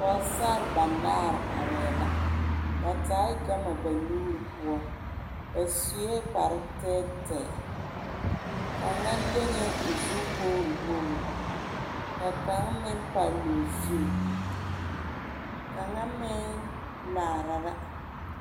Pogesara ba naare arɛɛ la ba taa gama ba nuuri poɔ ba sue kparre tɛɛtɛɛ kaŋa leŋɛɛ o zu wogre wogre ka kaŋ meŋ palee o zu kaŋa meŋ laara la.